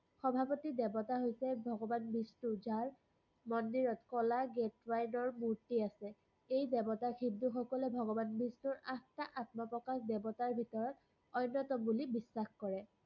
সভাপতি দেৱতা হৈছে ভগবান বিষ্ণু, যাৰ মন্দিৰত কলা মুৰ্তি আছে। এই দেৱতাক হিন্দু সকলে ভগবান বিষ্ণুৰ আঠটা আত্মপ্ৰকাশ দেৱতাৰ ভিতৰত অন্যতম বুলি বিশ্বাস কৰে।